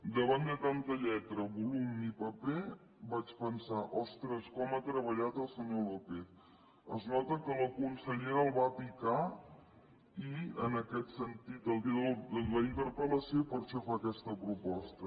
davant de tanta lletra volum i paper vaig pensar ostres com ha treballat el senyor lópez es nota que la consellera el va picar i en aquest sentit el dia de la interpel·lació i per això fa aquesta proposta